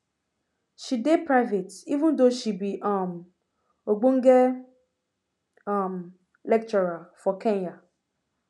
she dey private even though she be um ogbonge um lecturer for kenya